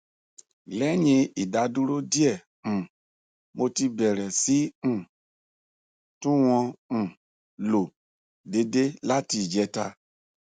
lẹyìn ìdádúró díẹ um mo ti bẹrẹ sí i um tún wọn um lò déédé láti ìjẹta